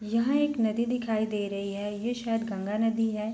यहाँ एक नदी दिखाई दे रही है ये शायद गंगा नदी है।